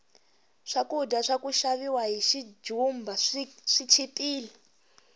swakudya swaka xaviwa hi xijumba swi chipile